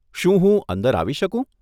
શું હું અંદર આવી શકું?